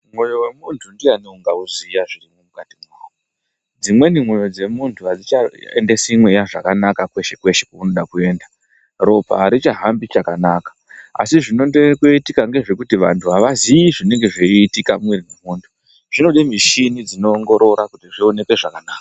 Moyo we muntu ndiyani unga uziya zviri mukati mwawo dzimweni moyo dzemutu adzichaendesi mweya zvakanaka kweshe kwese kwainoda kuenda ropa aricha hambi chakanaka asi zvinoende koitika ngezvekuti antu aziyi zvinenge zveitika mwona zvinoda mishini dzinongorora kuti zvionekwe zvakanaka.